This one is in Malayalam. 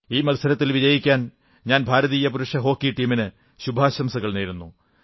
ഈ മത്സരത്തിൽ വിജയിക്കാൻ ഞാൻ ഭാരതീയ പുരുഷ ഹോക്കി ടീമിന് ശുഭാശംസകൾ നേരുന്നു